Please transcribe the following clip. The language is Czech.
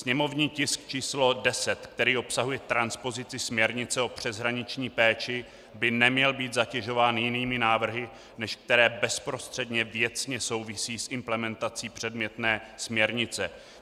Sněmovní tisk č. 10, který obsahuje transpozici směrnice o přeshraniční péči, by neměl být zatěžován jinými návrhy, než které bezprostředně věcně souvisí s implementací předmětné směrnice.